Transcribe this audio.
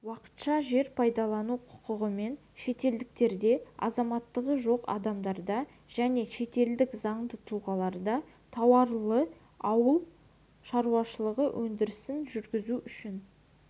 уақытша жер пайдалану құқығымен шетелдіктерде азаматтығы жоқ адамдарда және шетелдік заңды тұлғаларда тауарлы ауыл шаруашылығы өндірісін жүргізу үшін